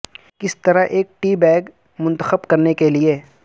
کس طرح ایک ٹی بیگ منتخب کرنے کے لئے